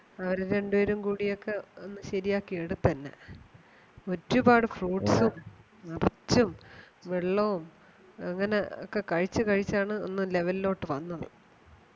അവര് രണ്ടുപേരും കൂടിയൊക്കെ ഒന്ന് ശെരിയാക്കി എടുത്തു എന്നെ ഒരുപാട് fruit ഉം വെള്ളവും അങ്ങനെ ഒക്കെ കഴിച്ചു കഴിച്ചാണ് ഒന്ന് level ലോട്ട് വന്നത്